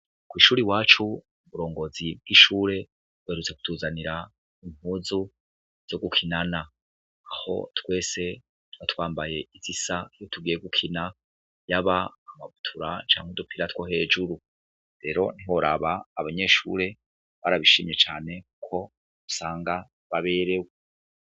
Kwishuri iwacu uburongozi bw'ishure buherutse kutuzanira impuzu zo gukinana. Aho twese twari twambaye izisa iyo tugiye gukina yaba amabutura canke udupira two hejuru. Rero ntiworaba abanyeshure barabishimye cane ko usanga baberewe.